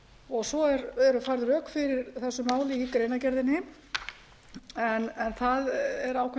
eru færð rök fyrir þessu máli í greinargerðinni en það er ákveðin